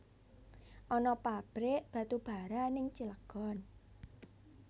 Ana pabrik batubara ning Cilegon